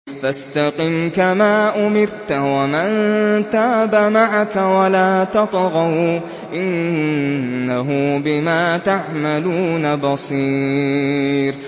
فَاسْتَقِمْ كَمَا أُمِرْتَ وَمَن تَابَ مَعَكَ وَلَا تَطْغَوْا ۚ إِنَّهُ بِمَا تَعْمَلُونَ بَصِيرٌ